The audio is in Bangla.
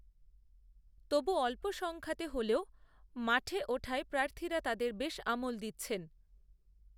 তবুঅল্প সংখ্যাতে হলেও নাম ওঠায়প্রার্থীরা তাঁদের বেশআমল দিচ্ছেন